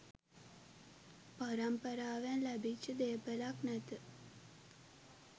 පරම්පාරාවෙන් ලැබිච්ච දේපලක් නැත.